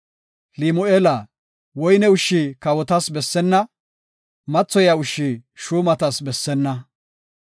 “Limu7eela, woyne ushshi kawotas bessenna; mathoyiya ushshi shuumatas bessenna.